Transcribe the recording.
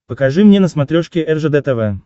покажи мне на смотрешке ржд тв